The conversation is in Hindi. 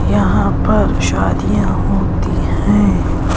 यहां पर शादियां होती हैं।